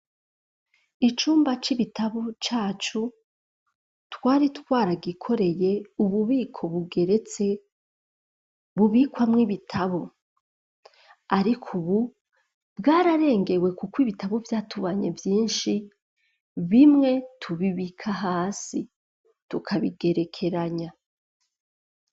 Icumba c'ibitabo, cacu, twari twara gikoreye ububiko bugeretse ,bubikwamw'ibitabo ,ariko ubu bwararengewe ,kuko ibitabo vyatubanye vyinshi ,bimwe tubibika hasi tukabigerekeranya.